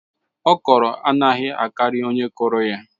Okro anaghị akari onye kụrụ ya